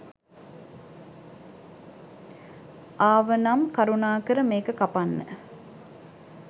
ආවනම් කරුණාකර මේක කපන්න